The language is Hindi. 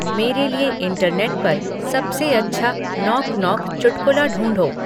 मेरे लिए इंटरनेट पर सबसे अच्छा 'नॉक नॉक' चुटकुला ढूँढो